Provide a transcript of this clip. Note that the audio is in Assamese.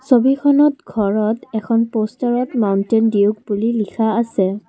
ছবিখনত ঘৰত এখন প'ষ্টাৰত মাউন্টেইন ডিউক বুলি লিখা আছে।